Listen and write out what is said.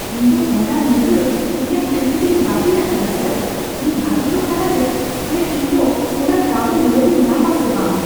ᱤᱧ ᱫᱚ ᱦᱚᱞᱟ ᱧᱤᱫᱟᱹ ᱤᱧᱟᱜ ᱴᱤᱠᱤᱴᱤᱧ ᱵᱟᱹᱛᱤᱞ ᱟᱠᱟᱫᱟ ᱥᱮᱹᱨ ᱾ ᱤᱧ ᱵᱷᱟᱹᱵᱤᱛᱚᱜ ᱠᱟᱱᱟ ᱡᱮ ᱪᱮᱫ ᱤᱧ ᱫᱚ ᱚᱱᱟ ᱠᱟᱹᱣᱰᱤ ᱨᱩᱣᱟᱹᱲᱤᱧ ᱧᱟᱢᱟ ᱥᱮ ᱵᱟᱝ ᱾